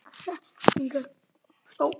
Þannig verður það ekki.